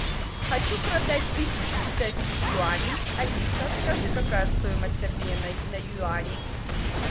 хочу продать тысячу китайских юаней алиса скажи какая стоимость обмена на юани